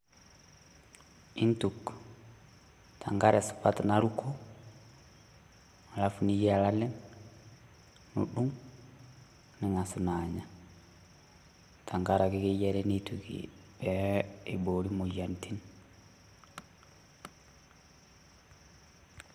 iintuk tenkare supat naruko alafu niyiaya lalem nudung ning`asu naa anya, tenkaraki keyiare nituki pee eiboori moyiaritin.